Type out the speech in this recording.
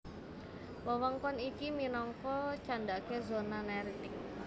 Wewengkon iki minangka candhaké zona neritik